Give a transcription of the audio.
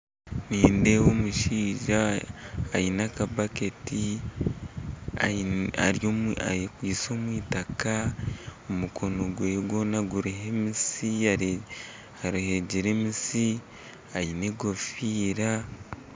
Nindeeba omushaija aine akabaketi akwitse omwitaaka omukono gwe gwona guriho emitsi, aregyire emitsi ajwire egofiira